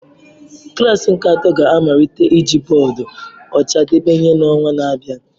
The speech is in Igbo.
Klasi nke atọ ga-amalite iji bọọdụ ọcha debe ihe n'ọnwa na-abịa.